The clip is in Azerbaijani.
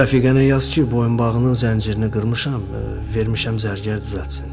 Rəfiqənə yaz ki, boyunbağının zəncirini qırmışam, vermişəm zərgər düzəltsin.